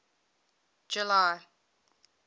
july